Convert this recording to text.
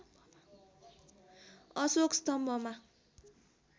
Ashok स्तम्भमा